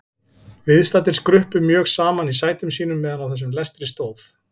Viðstaddir skruppu mjög saman í sætum sínum meðan á þessum lestri stóð.